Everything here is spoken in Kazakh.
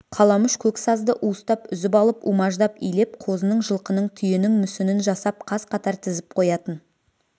қаламүш көк сазды уыстап үзіп алып умаждап илеп қозының жылқының түйенің мүсінін жасап қаз-қатар тізіп қоятын